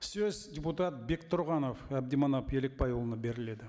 сөз депутат бектұрғанов әбдіманап елікбайұлына беріледі